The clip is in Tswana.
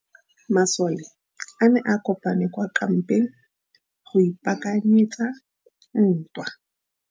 Masole a ne a kopane kwa kampeng go ipaakanyetsa ntwa.